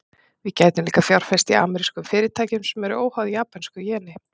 Við gætum líka fjárfest í amerískum fyrirtækjum, sem eru óháð japönsku jeni.